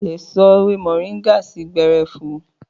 Àlé sò èwé mọrińgà sii gbẹrẹfú